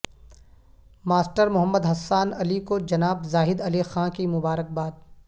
master Muhammad Hassan Ali کو جناب زاہد علی خاں کی مبارکباد